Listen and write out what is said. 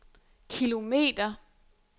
kilometer